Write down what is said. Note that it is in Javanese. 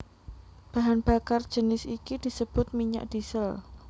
Bahan bakar jinis iki disebut minyak diesel